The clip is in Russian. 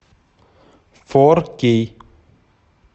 фор кей